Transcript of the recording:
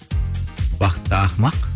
бақытты ақымақ